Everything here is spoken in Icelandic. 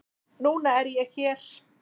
Núna er ég hér.